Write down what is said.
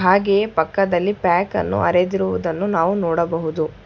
ಹಾಗೆ ಪಕ್ಕದಲ್ಲಿ ಪ್ಯಾಕ್ ಅನ್ನು ಅರೆದಿರುವುದನ್ನು ನಾವು ನೋಡಬಹುದು.